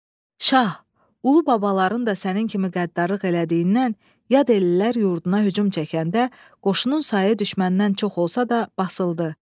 Şah, ulu babaların da sənin kimi qəddarlıq elədiyindən, yad ellilər yurduna hücum çəkəndə qoşunun sayı düşməndən çox olsa da basıldı.